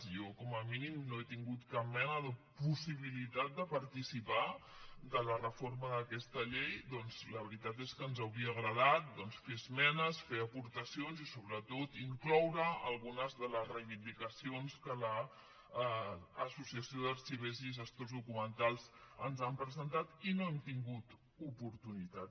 jo com a mínim no he tingut cap mena de possibilitat de participar de la reforma d’aquesta llei doncs la veritat és que ens hauria agradat ferhi esmenes fer hi aportacions i sobretot incloure hi algunes de les reivindicacions que l’associació d’arxivers i gestors documentals ens han presentat i no n’han tingut oportunitat